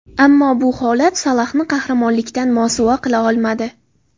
Ammo bu holat Salohni qahramonlikdan mosuvo qila olmadi.